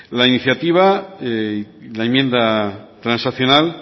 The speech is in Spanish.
la iniciativa y la enmienda transaccional